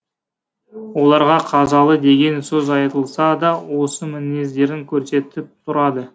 оларға қазалы деген сөз айтылса да осы мінездерін көрсетіп тұрады